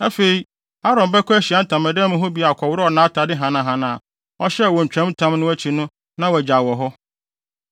“Afei, Aaron bɛkɔ Ahyiae Ntamadan mu hɔ bio akɔworɔw nʼatade hanahana a ɔhyɛɛ wɔ ntwamtam no akyi no na wagyaw wɔ hɔ.